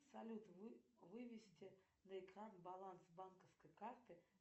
салют вывести на экран баланс банковской карты